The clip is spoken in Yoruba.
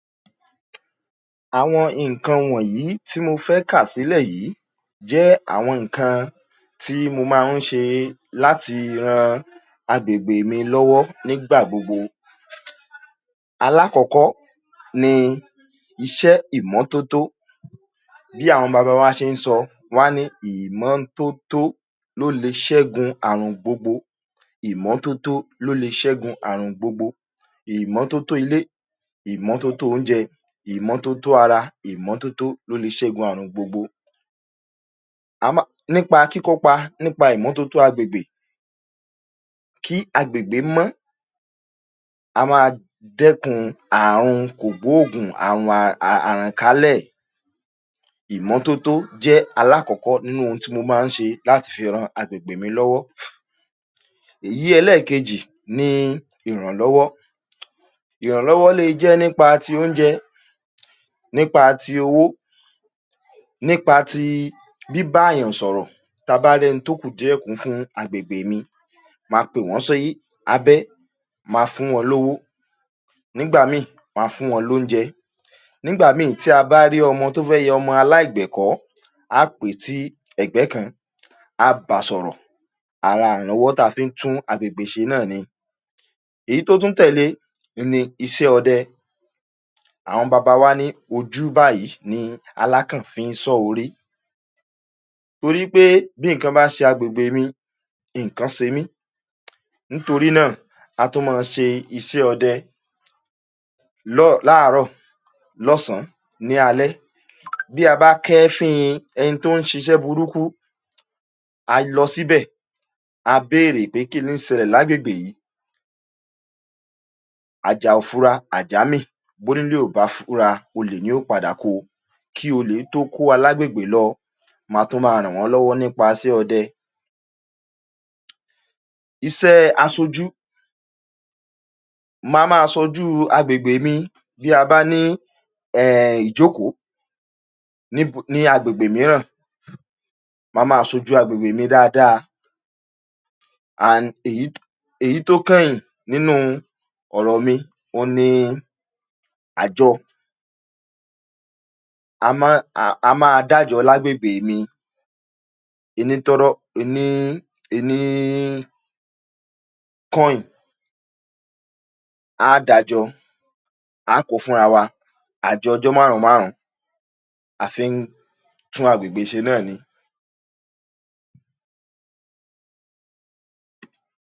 Àwọn nǹkan wọ̀nyìí tí mo fẹ́ kà sílẹ̀ yìí jẹ́ àwọn nǹkan tí mo máa ń ṣe láti ran agbègbè mi lọ́wọ́ nígbà gbogbo. Alákọ̀ọ́kọ́ ni iṣẹ́ ìmọ́tótó. Bí àwọn baba wa ṣe ń sọ, wọ́n á ní “ ìmọ́tótó ló le ṣẹ́gun àrùn gbogbo. Ìmọ́tótó ló le ṣẹ́gun àrùn gbogbo: ìmọ́tótó ilé, ìmọ́tótó oúnjẹ, ìmọ́tótó ara. Ìmọ́tótó ló le ṣẹ́gun àrùn gbogbo”. Nípa kíkópa nípa ìmọ́tótó agbègbè kí agbègbè mọ́, a máa dẹ́kun àhùn kògbóògùn, àhùn àhànkálẹ̀. Ìmọ́tótó jẹ́ alákọ̀ọ́kọ́ nínú ohun tí mo máa ń ṣe lati fi ran agbègbè mi lọ́wọ́. Èyí ẹlẹ́ẹ̀kejì ni ìhànlọ́wọ́. Ìhànlọ́wọ́ le jẹ́ nípa ti oúnjẹ, nípa ti owó, nípa ti bíbáàyàn sọ̀rọ̀, tá a bá rẹ́ni tó kù díẹ kú fún agbègbè mi, ma pè wọ́n sí abẹ́, ma fún wọn lówó. Nígbà míì, ma fún wọn lóúnjẹ. Nígbà míì tí a bá rí ọmọ tó fẹ́ yọmọ aláìgbẹ̀kọ́, á pè é tí ẹ̀gbẹ́ kan, á ba sọ̀rọ̀. Ara ìrànlọ́wọ́ tá a fi ń tún agbègbè ṣe náà ni. Èyí tó tún tẹ̀le in ni isẹ́ ọdẹ. Àwọn baba wá ní ojú báyìí ni alákàn fi ń sọ́ orí. Torí pé bí ǹǹkan bá se agbègbè mi, nǹkan se mí. Nítorí náà, a tun ma se isẹ́ ọdẹ láàárọ̀, lọ́sànán, ní alẹ́. Bí a bá kẹ́fínin ẹni tó ń ṣiṣẹ́ burúkú, à á lọ síbẹ̀, a béèrè pé kí lí ń sẹlẹ̀ lágbègbè ìí? Àjà ò fura, àjà mì. Bónílé ò bá fura olè ni ó padà ko. Kí olè tó kó wa lágbègbè lọ, ma tún máa ràn wọ́n lọ́wọ́ nípaasẹ́ ọdẹ. Isẹ́ẹ asojú: ma máa sojú agbègbè mi bí a bá ní um ìjókòó ní ní agbègbè mìíràn. Ma máa sojú agbègbè mi dáadáa. And èyí èyí tó kányìn nínúu ọ̀rọ̀ mi, òun ni àjọ. A máa ń, a máa dájọ lágbègbè mi. Ení tọ́rọ́, ení, ení coin, á da jọ, á ko fúnha wa, àjọọjọ́ máhùnún-máhùnún. A fi ń tún agbègbè ṣe náà ni.